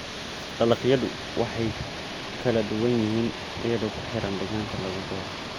Dalagyadu way kala duwan yihiin iyadoo ku xiran deegaanka lagu beero.